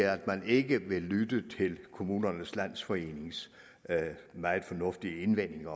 at man ikke vil lytte til kommunernes landsforenings meget fornuftige indvendinger